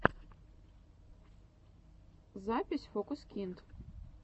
запись фокусникд